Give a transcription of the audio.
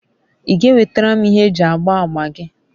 i ga enwetara m ihe eji agba agba gi?